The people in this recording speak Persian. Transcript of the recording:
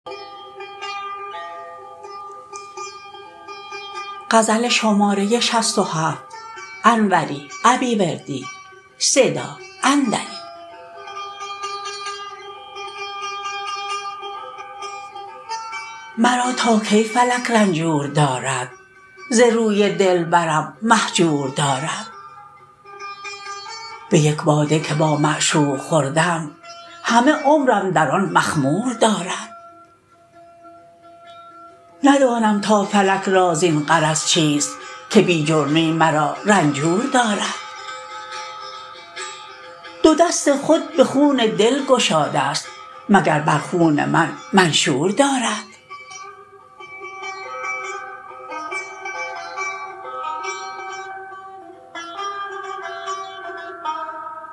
مرا تا کی فلک رنجور دارد ز روی دلبرم مهجور دارد به یک باده که با معشوق خوردم همه عمرم در آن مخمور دارد ندانم تا فلک را زین غرض چیست که بی جرمی مرا رنجور دارد دو دست خود به خون دل گشادست مگر بر خون من منشور دارد